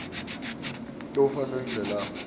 lwekufa nendlela lafe